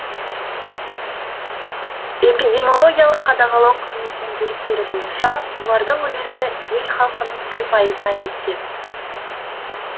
эпидемиологиялық қадағалау қызметінің деректері бойынша олардың үлесі ел халқының бір пайызына жеткен